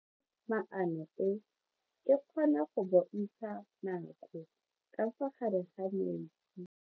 Toga-maano e, e kgona go bontsha nako ka fa gare ga metsi.